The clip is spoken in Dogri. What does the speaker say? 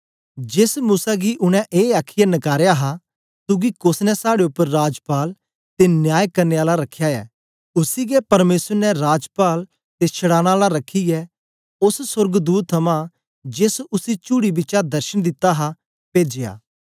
जेस मूसा गी उनै ऐ आखीयै नकारया हा तुगी कोस ने साड़े उपर राजपाल ते न्याय करने आला रखया ए उसी गै परमेसर ने राजपाल ते छड़ाने आला रखियै ओस सोर्गदूत थमां जेस उसी चुअड़ी बिचा दर्शन दिता हा पेजया